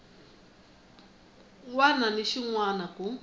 wana na xin wana ku